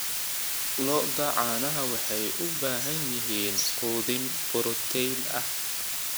Lo'da caanaha waxay u baahan yihiin quudin borotiin ah.